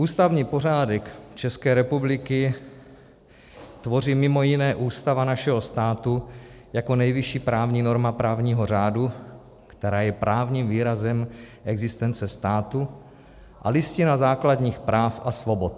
Ústavní pořádek České republiky tvoří mimo jiné Ústava našeho státu jako nejvyšší právní norma právního řádu, která je právním výrazem existence státu, a Listina základních práv a svobod.